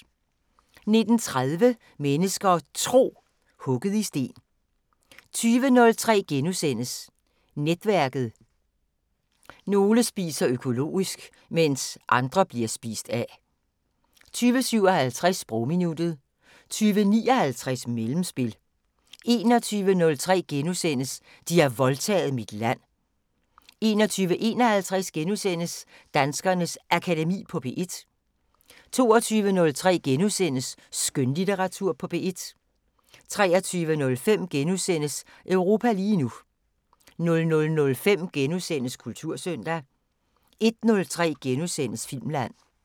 19:30: Mennesker og Tro: Hugget i sten 20:03: Netværket: Nogle spiser økologisk, mens andre bliver spist af * 20:57: Sprogminuttet 20:59: Mellemspil 21:03: De har voldtaget mit land * 21:51: Danskernes Akademi på P1 * 22:03: Skønlitteratur på P1 * 23:05: Europa lige nu * 00:05: Kultursøndag * 01:03: Filmland *